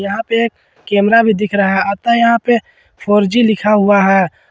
यहां पे एक कैमरा भी दिख रहा है अतः यहां पे फोर जी लिखा हुआ है।